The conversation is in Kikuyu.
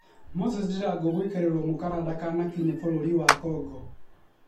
moses ndirangũ gwĩkĩrĩrwo mũkana ndakanakinye bũrũri wwa congo